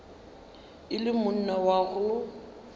e le monna wa go